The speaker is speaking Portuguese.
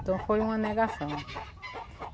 Então foi uma negação.